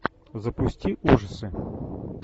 запусти ужасы